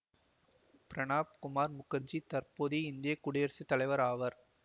பிரணப் குமார் முகர்ஜி தற்போதைய இந்திய குடியரசு தலைவர் ஆவர்